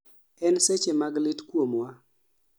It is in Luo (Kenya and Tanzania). En saeche mag lit kuomwa